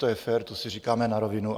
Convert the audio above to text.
To je fér, to si říkáme na rovinu.